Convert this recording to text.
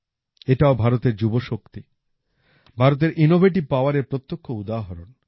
এটাও ভারতের যুবশক্তি ভারতের ইনোভেটিভ powerএর প্রত্যক্ষ উদাহরণ